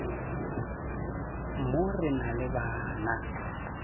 mo re na le bana